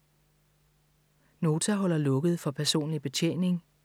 Nota holder lukket for personlig betjening